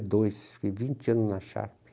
dois, fiquei vinte anos na Sharpe.